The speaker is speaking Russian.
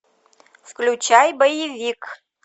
включай боевик